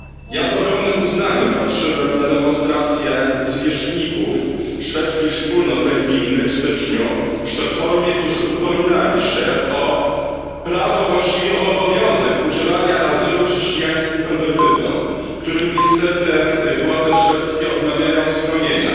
Ja z ogromnym uznaniem patrzyłem na demonstrację zwierzchników szwedzkich wspólnot religijnych w styczniu w Sztokholmie, którzy upominali się o prawo, właściwie o obowiązek udzielania azylu chrześcijańskim konwertytom, którym niestety władze szwedzkie odmawiają schronienia.